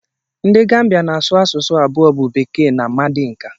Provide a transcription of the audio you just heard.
Ndị Gambịa na-asụ asụsụ abụọ bụ bekee na mandika